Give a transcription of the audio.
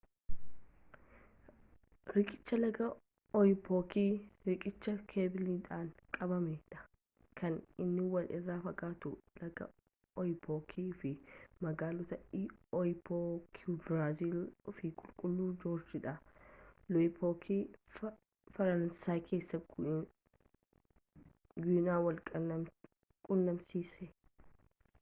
riiqicha laga oyapook riiqicha keebiliidhaan qabamee dha kan inni wal irra fagaatu laga oyapook fi magaaloota oiapoque biraazil fi qulqulluu joorj de l'oyapock faraansay keessa guiana wal qunnamsiisa